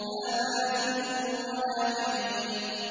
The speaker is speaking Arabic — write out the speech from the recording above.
لَّا بَارِدٍ وَلَا كَرِيمٍ